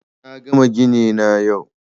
Na gama gini na yau